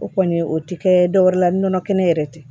O kɔni o ti kɛ dɔwɛrɛ la nɔnɔ kɛnɛ yɛrɛ tɛ